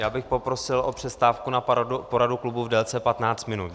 Já bych poprosil o přestávku na poradu klubu v délce 15 minut.